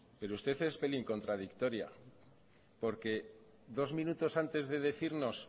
pero usted es pelín contradictoria porque dos minutos antes de decirnos